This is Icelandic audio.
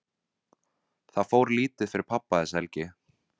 Það fór lítið fyrir pabba þessa helgi.